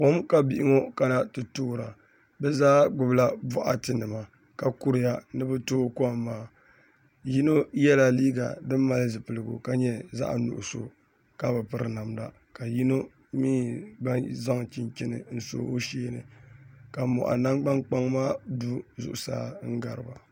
Kom ka bihi ŋo kana ti toora bi zaa gbubila boɣati nima ka kuriya ni bi tooi kom maa yino yɛla liiga din mali zipiligu ka nyɛ zaɣ nuɣso ka bi piri namda ka yino mii gba zaŋ chinchini n so o sheeni ka moɣa nangbani kpaŋ maa du zuɣusaa n gariba